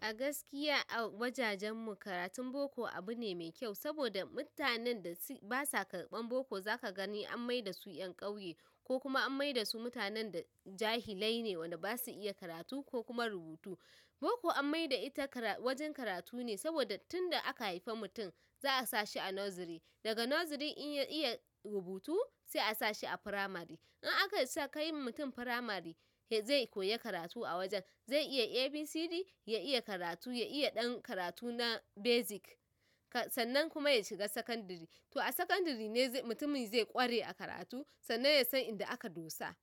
A gaskiya a wajajenmu karatun boko abune mai kyau saboda mutanen da basa karɓan boko zaka gani an maidasu ƴan ƙauye kokuma an maidasu mutanen da jahilaine wanda basu iya karatu kokuma rubutu. Boko an maida ita ƙara. Wajen karatune saboda tunda aka haifa mutum za'a sashi a noziri dagan noziri in ya iya rubutu za'a sashi a fitamari in aka isa kai mutum firamari zai koyi karatu a wajen, zai iya A, B, C, D ya iya karatu ya iya ɗan karatu na basic. Sannan kuma yashiga sakandari. To a sakandirine mutumin zai ƙware a karatu sannan yasan inda aka dosa.